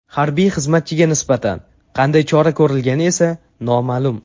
Harbiy xizmatchiga nisbatan qanday chora ko‘rilgani esa noma’lum.